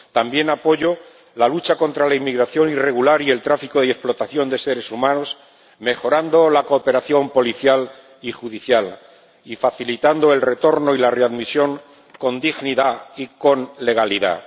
También apoyo la lucha contra la inmigración irregular y el tráfico y la explotación de seres humanos, con la mejora de la cooperación policial y judicial y facilitando el retorno y la readmisión, con dignidad y con legalidad.